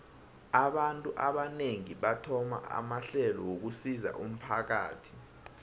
abantu abanengi bathoma amahlelo wokusizo umphakathi